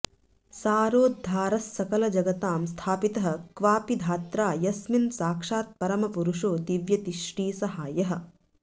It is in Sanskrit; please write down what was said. सारोद्धारस्सकलजगतां स्थापितः क्वापि धात्रा यस्मिन् साक्षात्परमपुरुषो दीव्यति श्रीसहायः